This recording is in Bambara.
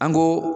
An ko